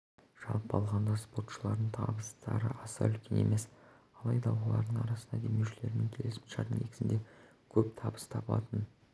жалпы алғанда спортшыларының табыстары аса үлкен емес алайда олардың арасында демеушілермен келісімшарт негізінде көп табыс табатын